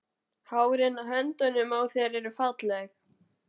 Hárin á höndunum á þér eru falleg.